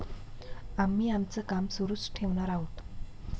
आम्ही आमचं काम सुरूच ठेवणार आहोत.